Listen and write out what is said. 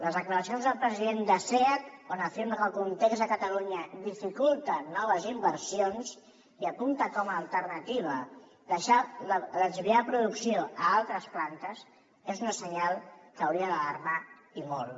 les declaracions del president de seat on afirma que el context a catalunya dificulta noves inversions i apunta com a alternativa desviar producció a altres plantes és un senyal que hauria d’alarmar i molt